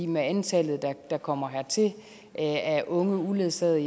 med antallet der kommer hertil af unge uledsagede